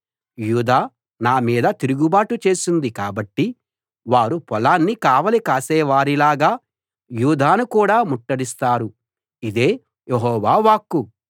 యూదా నా మీద తిరుగుబాటు చేసింది కాబట్టి వారు పొలాన్ని కావలి కాసేవారిలాగా యూదాను కూడా ముట్టడిస్తారు ఇదే యెహోవా వాక్కు